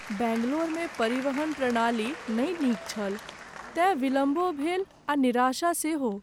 बैंगलोरमे परिवहन प्रणाली नहि नीक छल, तेँ विलम्बो भेल आ निराशा सेहो।